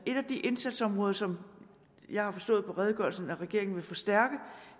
et af de indsatsområder som jeg har forstået på redegørelsen at regeringen vil forstærke